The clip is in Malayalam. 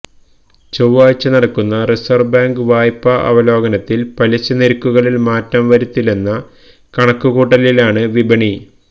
ചൊവാഴ്ച നടക്കുന്ന റിസര്വ് ബേങ്ക് വായ്പ്പ അവലോകനത്തില് പലിശ നിരക്കുകളില് മാറ്റം വരുത്തില്ലെന്ന കണക്ക് കൂട്ടലിലാണ് വിപണി